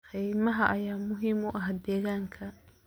Kaymaha ayaa muhiim u ah deegaanka.